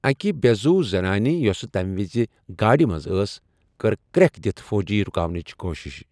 اکہِ بیٚہ زُو زنانہِ یوٚسہٕ تَمہِ وِزِ گاڑِ منٛز ٲس، كٔر كریٖكھ دِتھ فوجی رٗكاونٕچہِ كوُشِش ۔